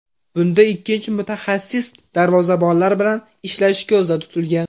Bunda ikkinchi mutaxassis darvozabonlar bilan ishlashi ko‘zda tutilgan.